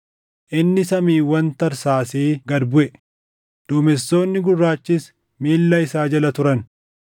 Inni samiiwwan tarsaasee gad buʼe; duumessoonni gurraachis miilla isaa jala turan.